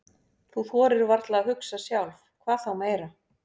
Þú þorir varla að hugsa sjálf, hvað þá meira.